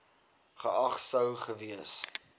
geag sou gewees